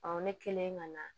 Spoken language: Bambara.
ne kelen ka na